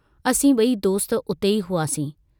असीं बई दोस्त उते ई हुआसीं।